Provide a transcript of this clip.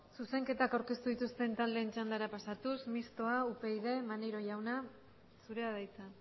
zuzenketak aurkeztu dituzten txandara pasatuz mistoa upyd maneiro jauna zurea da hitza